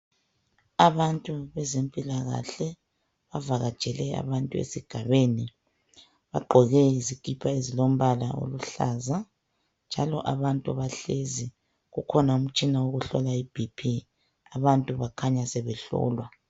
Abantu bezempilakahle bavakatshele abantu esigabeni, bagqoke izikipa ezilombala oluhlaza njalo abantu bahlezi. Kukhona umtshina wokuhlola iBP abantu bakhanya sebehlolwa.